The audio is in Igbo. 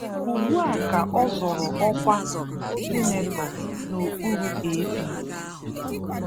Ugbua ka ọ zọrọ ọkwa sinetọ n'okpuru APC.